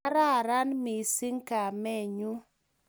Kararan mising kamenyu